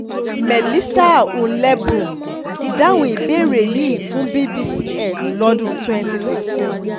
melissa hulenboom dáhùn ìbéèrè yìí fún bbc earth lọ́dún twenty fifteen